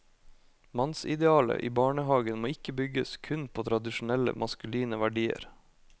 Mannsidealet i barnehagen må ikke bygges kun på tradisjonelle maskuline verdier.